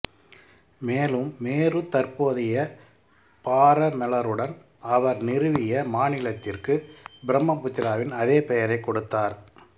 மேலும் மேரு தற்போதைய பாரமௌருடன் அவர் நிறுவிய மாநிலத்திற்கு பிரம்மபுராவின் அதே பெயரைக் கொடுத்தார்